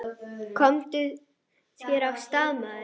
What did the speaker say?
Komdu þér af stað, maður!